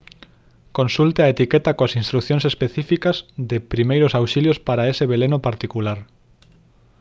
consulte a etiqueta coas instrucións específicas de primeiros auxilios para ese veleno particular